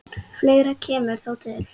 Fleira kemur þó til.